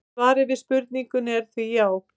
svarið við spurningunni er því já!